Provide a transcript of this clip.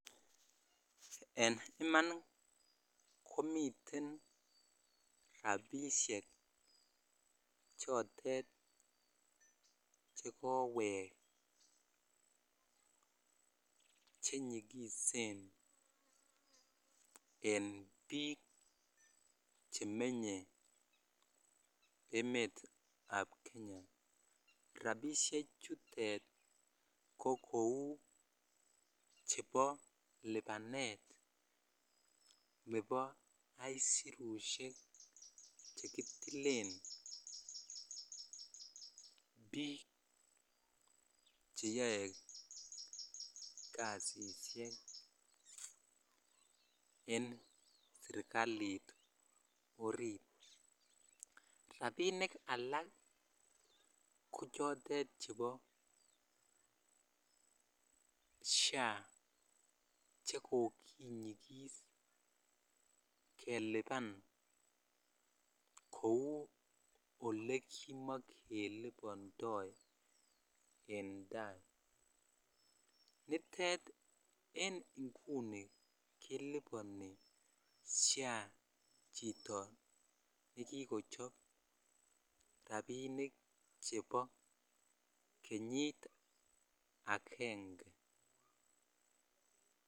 En iman komiten rabisiek chotet chewek chenyigisen en biik chemenye emeet ab kenya ,rabisiek chutet ko kou chebo lipanet nebo aisurusyek chekitilen biik cheyoe kasisiek en serkalit oriit, rabinik ko chotet chebo SHA chekokinyigis kelipan kou olekimogelibondo en tai, nitet en inguni kiliboni SHA chito nikikochob rabinik chebo kenyit agenge.